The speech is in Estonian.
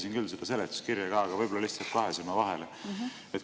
Lehitsesin küll seletuskirja, aga võib-olla jäi lihtsalt kahe silma vahele.